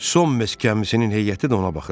Son mest gəmisinin heyəti də ona baxırdı.